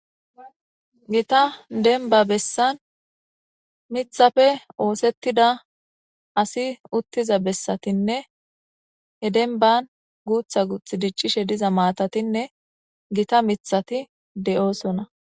Gita denniba besanni miththappe oththetidda asi utizza besatinne hee denibbanni guththa guththa dichishe dizayissa besses.